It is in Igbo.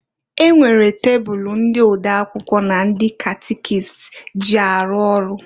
E nwere tebulu ndị ode akwụkwọ na ndị catikist ji arụ ọrụ.